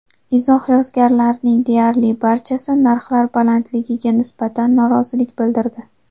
Izoh yozganlarning deyarli barchasi narxlar balandligiga nisbatan norozilik bildirdi.